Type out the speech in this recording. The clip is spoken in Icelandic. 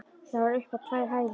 Það var upp á tvær hæðir.